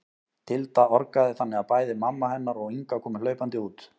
Tilda orgaði þannig að bæði mamma hennar og Inga komu hlaupandi út.